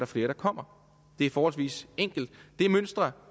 flere der kommer det er forholdsvis enkelt det mønster